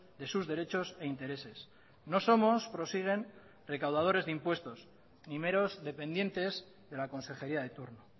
de sus derechos e intereses no somos prosiguen recaudadores de impuestos ni meros dependientes de la consejería de turno